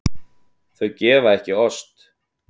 Þau gefa ekki ost.